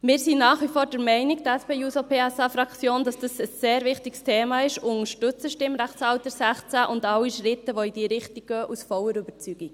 Wir, die SP-JUSO-PSA-Fraktion, sind nach wie vor der Meinung, dass dies ein sehr wichtiges Thema ist, und unterstützen das Stimmrechtalter 16 sowie alle Schritte, die in diese Richtung gehen, aus voller Überzeugung.